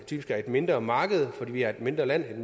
typisk er et mindre marked fordi vi er et mindre land